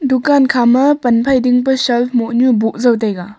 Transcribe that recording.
dukan khama pan phai dingpa shelf mohnu boh zau taiga.